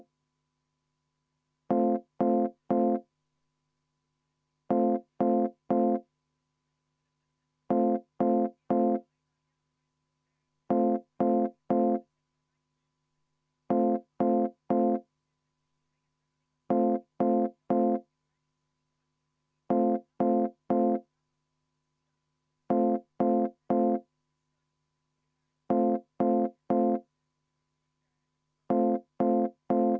Kui see on fraktsiooni ettepanek, siis palun teeme viieminutilise vaheaja.